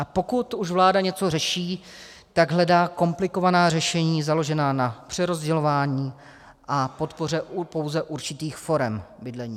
A pokud už vláda něco řeší, tak hledá komplikovaná řešení založená na přerozdělování a podpoře pouze určitých forem bydlení.